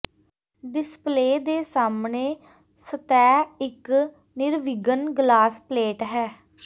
display ਦੇ ਸਾਹਮਣੇ ਸਤਹ ਇੱਕ ਨਿਰਵਿਘਨ ਗਲਾਸ ਪਲੇਟ ਹੈ